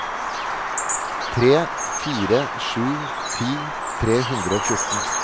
tre fire fire sju ti tre hundre og fjorten